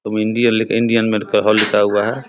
इंडियल Indian medical hall लिखा हुआ है।